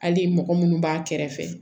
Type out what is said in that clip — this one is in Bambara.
Hali mɔgɔ munnu b'a kɛrɛfɛ